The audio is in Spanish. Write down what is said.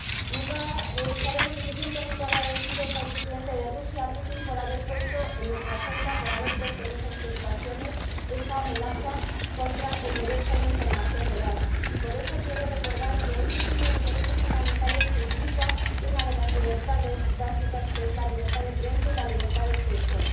Nunca estaremos suficientemente agradecidos al presidente de Rusia, a Putin, por haber puesto en nuestra agenda, por haber puesto en nuestras preocupaciones, esta amenaza contra el derecho a la información veraz, y por eso quiero recordar que ese es uno de los derechos fundamentales, que implica una de las libertades básicas, que es la libertad de prensa y la libertad de expresión.